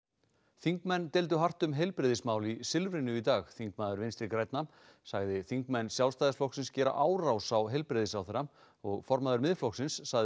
þingmenn deildu hart um heilbrigðismál í Silfrinu í dag þingmaður Vinstri grænna sagði þingmenn Sjálfstæðisflokksins gera árás á heilbrigðisráðherra og formaður Miðflokksins sagði